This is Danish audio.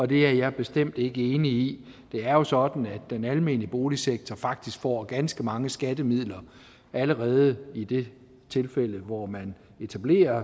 det er jeg bestemt ikke enig i det er jo sådan at den almene boligsektor faktisk får ganske mange skattemidler allerede i de tilfælde hvor man etablerer